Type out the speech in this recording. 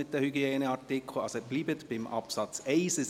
Bleiben Sie beim Absatz 1.